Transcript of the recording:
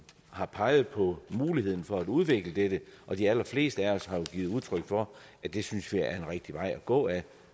har peget på muligheden for at udvikle dette og de allerfleste af os har jo givet udtryk for at det synes vi er en rigtig vej at gå ad